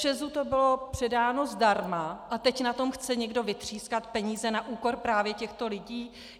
ČEZu to bylo předáno zdarma, a teď na tom chce někdo vytřískat peníze na úkor právě těchto lidí!